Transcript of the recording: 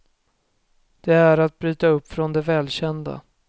Det är att bryta upp från det välkända.